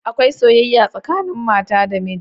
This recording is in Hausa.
Akwai soyayya tsakanin mata da miji